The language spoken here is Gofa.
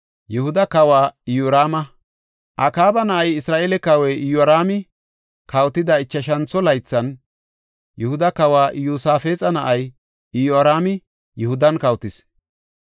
Akaaba na7ay, Isra7eele kawoy Iyoraami kawotida ichashantho laythan, Yihuda Kawa Iyosaafexa na7ay Iyoraami Yihudan kawotis.